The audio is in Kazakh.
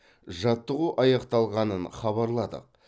жаттығу аяқталғанын хабарладық